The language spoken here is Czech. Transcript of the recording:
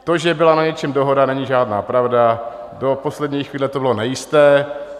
To, že byla na něčem dohoda, není žádná pravda, do poslední chvíle to bylo nejisté.